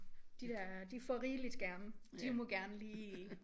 De der de får rigeligt skærme de må gerne lige